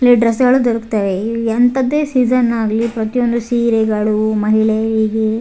play dress ಗಳು ದೊರಕ್ತವೇ ಎ ಎಂತದ್ದೇ ಸೀಸನ್ ಆಗ್ಲಿ ಪ್ರತಿಯೊಂದು ಸೀರೆಗಳೂ ಮಹಿಳೇಯೀಗೇ --